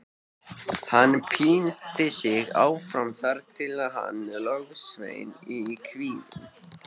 Hann píndi sig áfram þar til hann logsveið í kviðinn.